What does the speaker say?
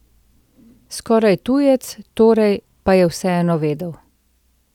Skoraj tujec, torej, pa je vseeno vedel.